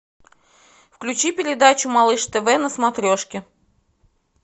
включи передачу малыш тв на смотрешке